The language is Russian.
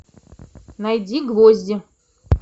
найди гвозди